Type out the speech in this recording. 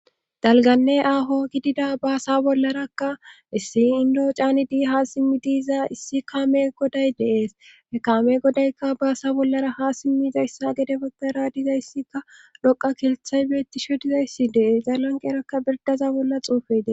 Dalganne aaho gidida baasa bollarakka issi indoo caanidi ha simmi diiza issi kaame goday deees e kaame godaykka baasa bollara ha simmizayssa gede baggara dizayssikka loqa kelthay beettisho dizayssi dees zalanqerakka birdaza bolla xuufede.